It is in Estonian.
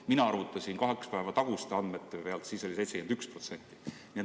Mina arvutasin kahe päeva taguste andmete pealt, siis oli 71%.